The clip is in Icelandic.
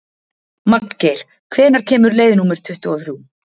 Magngeir, hvenær kemur leið númer tuttugu og þrjú?